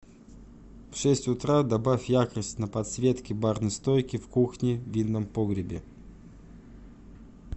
в шесть утра добавь яркость на подсветке барной стойки в кухне в винном погребе